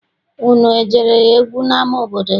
Unu ejere egwu n'ama obodo gị?